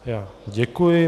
Já děkuji.